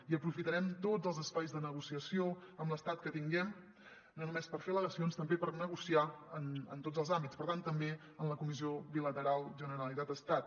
i aprofitarem tots els espais de negociació amb l’estat que tinguem no només per fer al·legacions sinó també per negociar en tots els àmbits per tant també en la comissió bilateral generalitat·estat